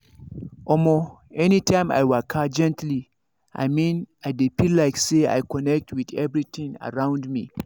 omo anytime i waka gently i mean i dey feel like say i connect with everything around me.